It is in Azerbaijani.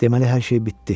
Deməli hər şey bitdi.